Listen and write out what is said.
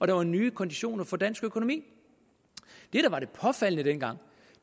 der var nye konditioner for dansk økonomi det der var det påfaldende dengang